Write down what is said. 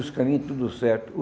Os caminhos, tudo certo.